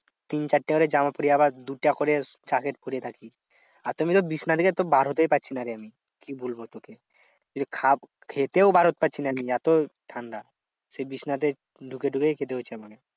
তিন চারটে করে জামা পরে আবার দুটা করে জ্যাকেট পরে থাকি। আর এমনি তো বিছানা থেকে তো বার হতেই পারছিনা রে আমি। কি বলবো তোকে? কিছু খেতেও বার হতে পারছি না এত ঠান্ডা। সেই বিছানাতে ঢুকে ঢুকেই খেতে হচ্ছে আমাকে।